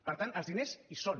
per tant els diners hi són